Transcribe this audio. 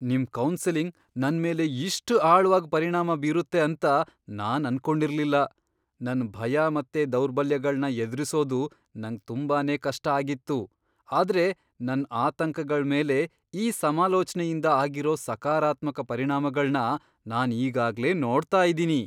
ನಿಮ್ ಕೌನ್ಸೆಲಿಂಗ್ ನನ್ಮೇಲೆ ಇಷ್ಟ್ ಆಳ್ವಾಗ್ ಪರಿಣಾಮ ಬೀರುತ್ತೆ ಅಂತ ನಾನ್ ಅನ್ಕೊಂಡಿರ್ಲಿಲ್ಲ! ನನ್ ಭಯ ಮತ್ತೆ ದೌರ್ಬಲ್ಯಗಳ್ನ ಎದ್ರಿಸೋದು ನಂಗ್ ತುಂಬಾನೇ ಕಷ್ಟ ಆಗಿತ್ತು.. ಆದ್ರೆ ನನ್ ಆತಂಕಗಳ್ ಮೇಲೆ ಈ ಸಮಾಲೋಚ್ನೆಯಿಂದ ಆಗಿರೋ ಸಕಾರಾತ್ಮಕ ಪರಿಣಾಮಗಳ್ನ ನಾನ್ ಈಗಾಗ್ಲೇ ನೋಡ್ತಾ ಇದೀನಿ!